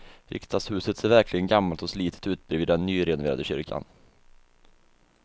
Riksdagshuset ser verkligen gammalt och slitet ut bredvid den nyrenoverade kyrkan.